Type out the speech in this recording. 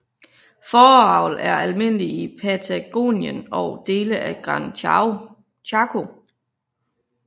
Fåreavl er almindelig i Patagonien og dele af Gran Chaco